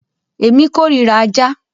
Èmi kórira ajá.